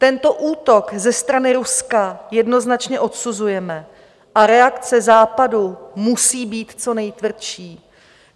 Tento útok ze strany Ruska jednoznačně odsuzujeme a reakce Západu musí být co nejtvrdší.